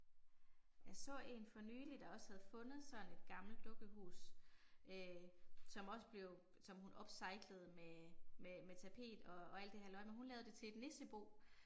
Jeg så én for nylig der også havde fundet sådan et gammelt dukkehus, øh som også blev, som hun upcyclede med med med tapet og og alt det halløj men hun lavede det til et nissebo